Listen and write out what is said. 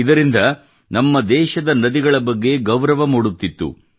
ಇದರಿಂದ ನಮ್ಮ ದೇಶದ ನದಿಗಳ ಬಗ್ಗೆ ಗೌರವ ಮೂಡುತ್ತಿತ್ತು